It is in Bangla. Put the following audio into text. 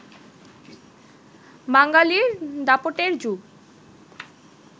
বাঙালির দাপটের যুগ